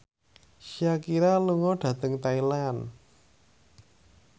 Shakira lunga dhateng Thailand